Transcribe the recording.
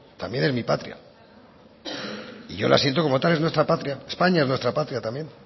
también es mi patria y yo la siento como tal es nuestra patria españa es nuestra patria también